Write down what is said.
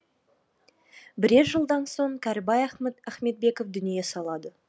бірер жылдан соң кәрібай ахметбеков дүние салады